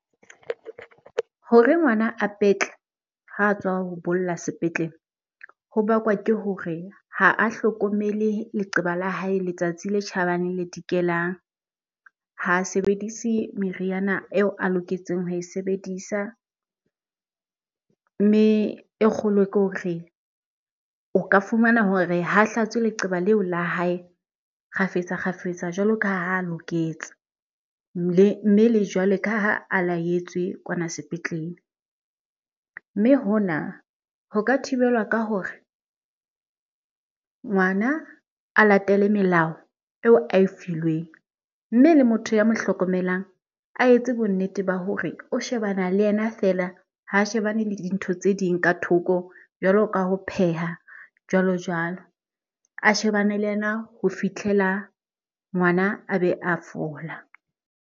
Hore ngwana a petle ha tswa ho bolla sepetlele, ho bakwa ke hore ha a hlokomele leqeba la hae letsatsi le tjhabang le le dikelang. Ha sebedise meriana eo a loketseng ho e sebedisa. Mme e kgolo ke hore, o ka fumana hore ha hlatswe leqeba leo la hae kgafetsa-kgafetsa jwalo ka ha a loketse mme le jwale ka ha a laetswe kwana sepetlele. Mme hona ho ka thibelwa ka hore, ngwana a latele melao eo a e filweng. Mme le motho ya mo hlokomelang a etse bonnete ba hore re o shebana le yena feela, ha shebane le dintho tse ding ka thoko jwalo ka ho pheha jwalo jwalo. A shebane le yena ho fihlela ngwana a be a fola.